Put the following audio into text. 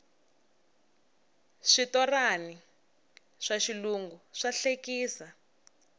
switorani swa xilungu swa hlekisa